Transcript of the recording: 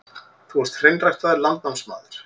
Þú ert hreinræktaður landnámsmaður.